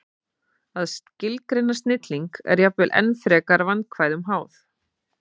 Að skilgreina snilling er jafnvel enn frekar vandkvæðum háð.